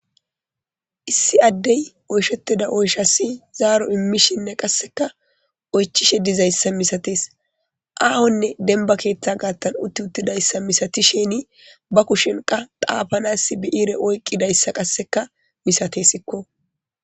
Issi addey oyshetida oyshasi zaaro immishe dizayssanne qasseka oychishe dizayssa misateesaahone dembba keetha gaesan utidayssa misatishini ba kushen xaapanas bi7ire oyqidaysa masatesiko.